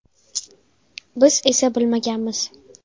Biz esa bilmaganmiz.